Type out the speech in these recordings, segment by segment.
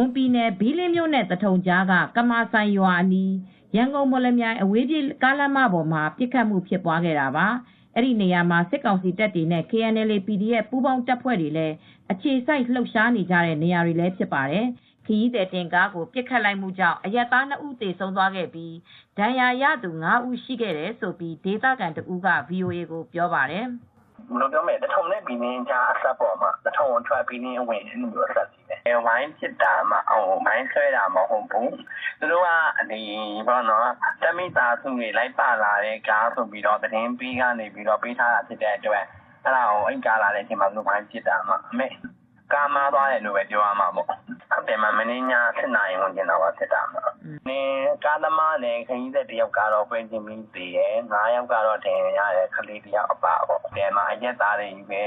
ွန်ပြည်နယ်၊ ဘီလင်းမြို့နဲ့သထုံကြားက ကမာစိုင်ရွာအနီး ရန်ကုန်-မော်လမြိုင် အဝေးပြေးကားလမ်းမပေါ်မှာ ပစ်ခတ်မှုဖြစ်ခဲ့တာပါ ။ ဒီနေရာမှာစစ်ကောင်စီတပ်တွေနဲ့ KNLA /PDF တပ်တွေ လည်း အခြေစိုက်လှုပ်ရှားနေကြတဲ့နေရာတွေလည်းဖြစ်ပါတယ် ။ ခရီးသည်တင်ကားကိုပစ်ခတ်မူ့ကြောင့်အရပ်သား ၂ဦးသေဆုံးသွားပြီး ဒဏ်ရာရသူ ၅ဦးရှိခဲ့တယ်လို့ဒေသခံတဦးကVOA ကိုပြောပါတယ်။ "သထုံနဲ့ဘီလင်းကြား သထုံအထွက် ဘီးလင်းအဝင်နားမှာဖြစ်တာပါ၊ ဝိုင်းပစ်တာပါ မိုင်းဆွဲတာမဟုတ်ဘူး။ တပ်မိသားစုတွေလာတဲ့ကားဆိုပြီးသတင်းပေးကသတင်းပေးထားတဲ့အတွက် ဝိုင်းပစ်တာပါ ကားမှားသွားတယ်လို့ပဲပြောရမှာပေါ့၊ ကားသမားနဲ့ခရီးသည်တဦးကတော့ပွဲချင်းပြီးသေတယ်၊ မနေ့ည ၈နာရီဝန်းကျင်လောက်ကဖြစ်တာပါ ကားသမားနဲ့ခရီးသည်တဦးကပဲွချင်းပြီးသေဆုံးပြီးခရီးသည် ၅ဦဒဏ်ရာရတယ် ကလေးတဦးအပါအဝင်ပေါ့ အရပ်သားတွေချည်းပဲ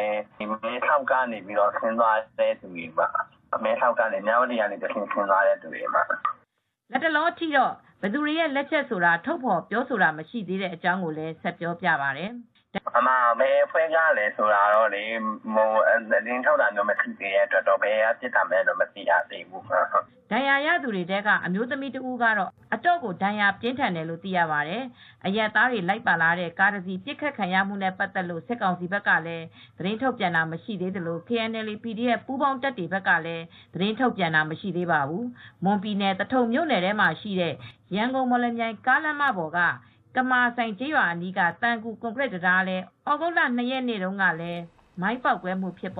မဲဆောက်ကနေ မြ၀တီ အဲဒီကနေ ဆင်းသွားတဲ့သူတွေပါ" လတ်တလောအထိတော့ဘယ်သူတွေရဲ့လက်ချက်ဆိုတာထုတ်ဖော်ပြောဆိုတာမရှိသေးတဲ့အကြောင်းကိုလည်းပြောပါတယ်။ "ဘယ်အဖွဲ့ကပစ်သလဲဆိုတာတော့သတင်းထုတ်ပြန်တာမရှိသေးတဲ့အတွက် ဘယ်သူတွေပစ်လဲဆိုတာတော့မသိသေးပါဘူး" ဒဏ်ရာရသူတွေထဲက အမျိုးသမီးတဦးကတော့အတော်ကိုဒဏ်ရာပြင်းထန်တယ်လို့သိရပါတယ်၊အရပ်သားတွေ လိုက်ပါလာတဲ့ကားတစီးပစ်ခတ်ခံရမှုနဲ့ပတ်သက်လို့ စစ်ကောင်စီဘက်ကလည်းသတင်းထုတ်ပြန်တာမရှိသေးသလို KNLA/PDF ပူးပေါင်းတပ်တွေတွေကလည်း သတင်းထုတ်ပြန်တာမရှိသေးပါဘူး။ မွန်ပြည်နယ်၊ သထုံမြို့နယ်ထဲမှာရှိတဲ့ ရန်ကုန်-မော်လမြိုင်ကားလမ်းပေါ်က ကမာစိုင်ကျေးရွာအနီးက သံကူ ကွန်ကရစ်တံတားလည်း ဩဂုတ်လ ၂ရက် နေ့တုန်းကလည်း မိုင်းပေါက်ကွဲမှုဖြစ်ခဲ့ပါ